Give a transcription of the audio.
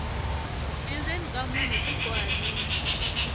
endzeni ka munhu ku bohanile